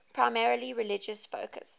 primarily religious focus